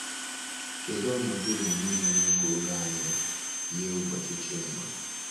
Kedu ọnọdụ omume na-eme ka oge anyị yie ụbọchị Chima?